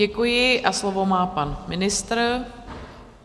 Děkuji a slovo má pan ministr.